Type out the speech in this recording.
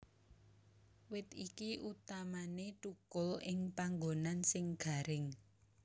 Wit iki utamané thukul ing panggonan sing garing